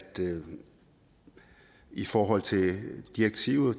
det i forhold til direktivet